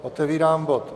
Otevírám bod